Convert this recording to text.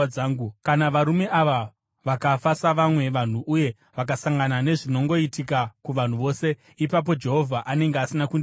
Kana varume ava vakafa savamwe vanhu uye vakasangana nezvinongoitika kuvanhu vose, ipapo Jehovha anenge asina kundituma.